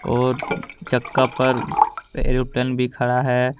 और छक्का पर एयरप्लेन भी खड़ा है।